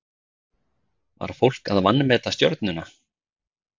Var fólk að vanmeta Stjörnuna?